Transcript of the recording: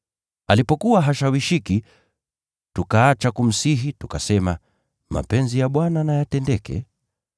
Alipokuwa hashawishiki, tukaacha kumsihi, tukasema, “Mapenzi ya Bwana na yatendeke.”